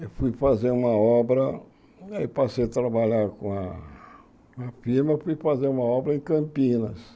Eu fui fazer uma obra, aí passei a trabalhar com a a firma, fui fazer uma obra em Campinas.